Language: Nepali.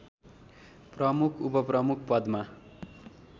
प्रमुख उपप्रमुख पदमा